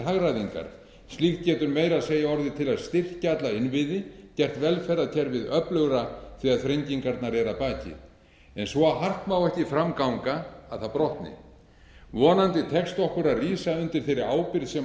hagræðingar slíkt getur meira að segja orðið til að styrkja alla innviði gert velferðarkerfið öflugra þegar þrengirnar eru að baki svo hart má ekki að ganga að það brotni vonandi tekst okkur að rísa undir þeirri ábyrgð sem